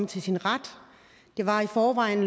til sin ret det var i forvejen